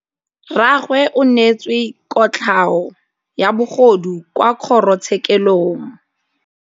Rragwe o neetswe kotlhaô ya bogodu kwa kgoro tshêkêlông.